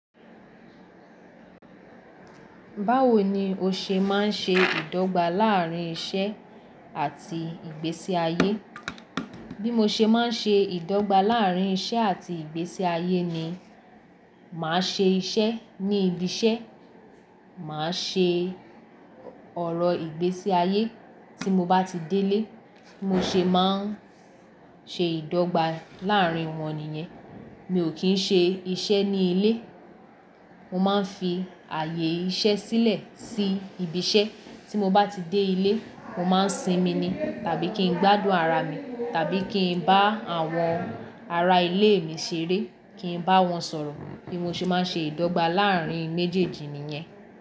Báwo ni o ṣe máa ń ṣe ìdọ́gba láàrín iṣẹ́ àti ìgbésí ayé? Bí mo ṣe máa ń ṣe ìdọ́gba láàrín iṣẹ́ àti ìgbésí ayé ni, màá ṣe iṣẹ́ ní ibi iṣẹ́, màá ṣe ọ̀rọ̀ ìgbésí ayé. Tí mo bá ti délé, mo ṣe máa ń ṣe ìdọ́gba láàrín wọn nìyẹn. Mi ò kí ń ṣe iṣẹ́ ní ilé. Mo máa ń fi ààyè iṣẹ́ sílẹ̀ sí ibi iṣẹ́. Tí mo bá ti dé ilé, mo máa ń sinmi ni tàbí kí n gbádùn ara mi, tàbí kí n bá àwọn ará ilé mi ṣeré, kí n bá wọn sọ̀rọ̀. Bí mo ṣe máa ń ṣe ìdọ́gba láàrín méjèèjì nìyẹn.